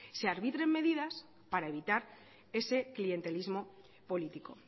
se arbitren medidas para evitar ese clientelismo político